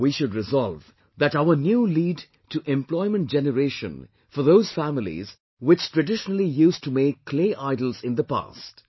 If we resolve now, our efforts will lead to employment generation for those families which traditionally used to make clay idols in the past